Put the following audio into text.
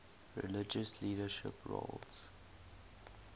religious leadership roles